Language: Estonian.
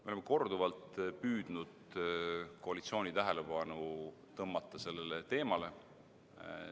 Me oleme korduvalt püüdnud koalitsiooni tähelepanu tõmmata sellele teemale.